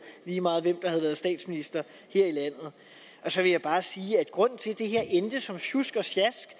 lige meget hvem der havde været statsminister her i landet så vil jeg bare sige at grunden til at det her endte som sjusk og sjask